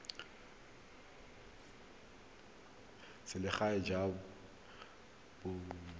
selegae jo bo tlamelang ka